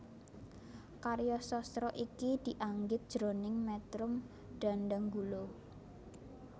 Karya sastra iki dianggit jroning métrum dhandhanggula